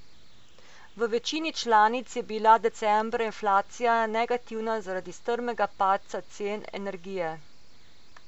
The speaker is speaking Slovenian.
V večini članic je bila decembra inflacija negativna zaradi strmega padca cen energije.